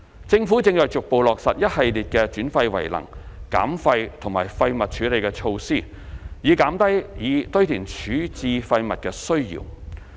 政府正逐步落實一系列的轉廢為能、減廢及廢物處理措施，以減低以堆填處置廢物的需要。